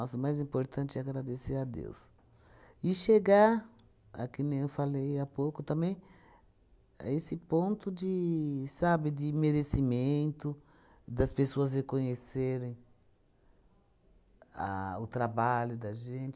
o mais importante é agradecer a Deus. E chegar, a que nem eu falei há pouco também, a esse ponto de, sabe, de merecimento, das pessoas reconhecerem a o trabalho da gente,